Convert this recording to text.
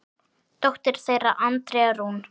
Dóttir þeirra Andrea Rún.